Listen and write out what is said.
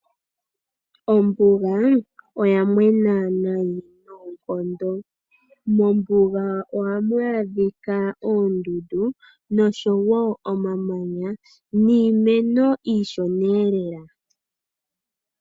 Ombuga oya mwena nayi noonkondo. Mombuga ohamu adhika oondundu nosho wo omamanya niimeno iishoneelela.